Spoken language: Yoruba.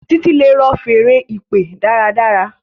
Titi le rọ Fèèrè ìpè dára dára.